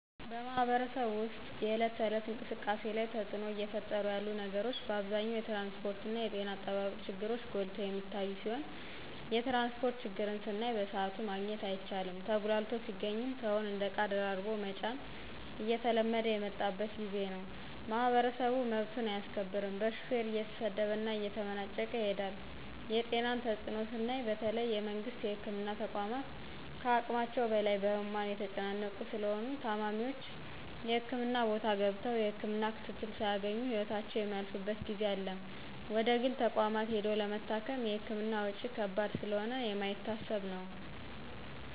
በማህበረሰቡ ወስጥ የእለት ተእለት እንቅስቃሴ ላይ ተጽእኖ እየፈጠሩ ያሉ ነገሮች በአብዛኛው የትራንስጶርትና የጤና አጠባበቅ ችግሮች ጎልተው የሚታዮ ሲሆን የትራንስጶርት ችግርን ስናይ በስአቱ ማግኘት አይቻልም ተጉላልቶ ሲገኝም ሰውን እንደ እቃ ደራርቦ መጫን እየተለመደ የመጣበት ጊዜ ነው። ማህበረሰቡ መብቱን አያስከብርም በሹፌር እየተሰደበና እየተመናጨቀ ይሄዳል የጤናን ተጽእኖ ስናይ በተለይ የመንግስት የህክምና ተቋማት ከሀቅማቸው በላይ በህሙማን የተጨናነቁ ስለሆነ ታማሚዎች የህክምና ቦታ ገብተው የህክምና ክትትል ሳያገኙ ህይወታቸው የሚያልፍበት ጊዜ አለ ወደግል ተቋማት ሂዶ ለመታከም የህክምና ወጭ ከባድ ስለሆነ የማይታሰብ ነው።